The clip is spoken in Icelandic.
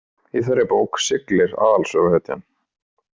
Í þeirri bók siglir aðalsöguhetjan.